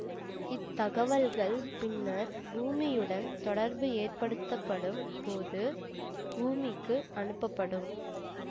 இத்தகவல்கள் பின்னர் பூமியுடன் தொடர்பு ஏற்படுத்தப்படும் போது பூமிக்கு அனுப்பப்படும்